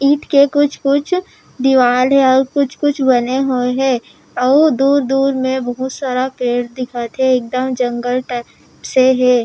ईट के कुछ-कुछ दिवाल हे आऊ कुछ-कुछ बने हुए हे आऊ दूर-दूर मे बहुत सारा पेड़ दिखत हे एकदम जंगल टाइप से हे।